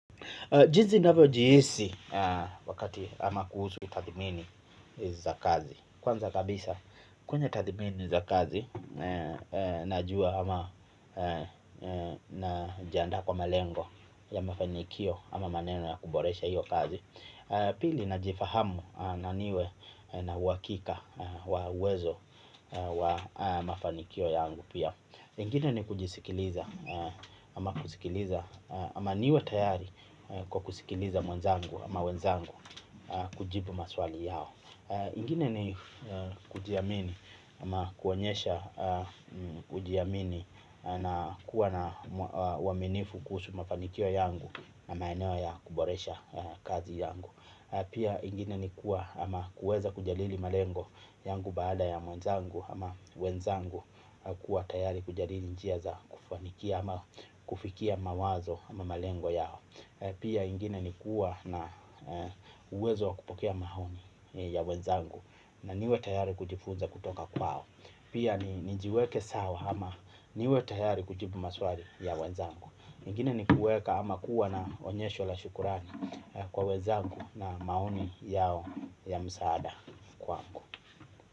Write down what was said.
Jinsi navyojihisi wakati ama kuhusu utathmini za kazi. Kwanza kabisa, kwenye tathimini za kazi, najua ama na jiandaa kwa malengo ya mafanikio ama maneno ya kuboresha hiyo kazi. Pili najifahamu na niwe na uhakika wa uwezo wa mafanikio yangu pia. Ingini ni kujisikiliza ama kujisikiliza ama niwe tayari kwa kusikiliza mwenzangu ama wenzangu kujibu maswali yao. Ingini ni kujiamini ama kuonyesha kujiamini na kuwa na uaminifu kuhusu mafanikio yangu na maeneo ya kuboresha kazi yangu. Pia ingine ni kuwa ama kuweza kujadili malengo yangu baada ya mwenzangu ama wenzangu kuwa tayari kujadili njia za kufanikia ama kufikia mawazo ama malengo yao. Pia ingine ni kuwa na uwezo wa kupokea maoni ya wenzangu na niwe tayari kujifunza kutoka kwao. Pia ni nijiweke sawa ama niwe tayari kujibu maswali ya wenzangu ingine ni kuweka ama kuwa na onyesho la shukrani kwa wezangu na maoni yao ya msaada kwako.